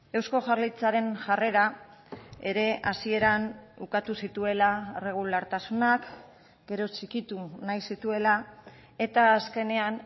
eusko jaurlaritzaren jarrera ere hasieran ukatu zituela irregulartasunak gero txikitu nahi zituela eta azkenean